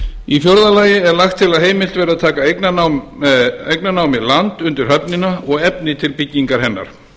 í fjórða lagi er lagt til að heimilt verði að taka eignarnámi land undir höfnina og efni til byggingar hennar